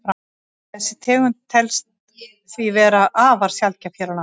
Þessi tegund telst því vera afar sjaldgæf hér á landi.